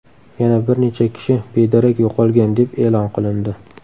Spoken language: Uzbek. Yana bir necha kishi bedarak yo‘qolgan deb e’lon qilindi.